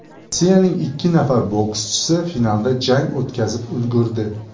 Rossiyaning ikki nafar bokschisi finalda jang o‘tkazib ulgurdi.